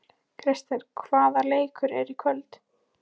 Krister, hvaða leikir eru í kvöld?